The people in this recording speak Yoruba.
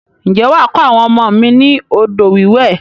Ǹjẹ́ wà á kọ́ àwọn ọmọ mi ni odò wíwẹ̀?